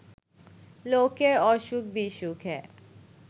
লোকের অসুখ-বিসুখে